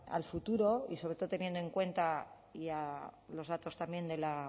al futuro y sobre todo teniendo en cuenta los datos también de la